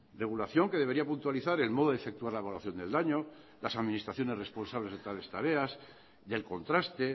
regulación que debería puntualizar el modo de efectuar la evaluación del daño las administraciones responsables de tales tareas del contraste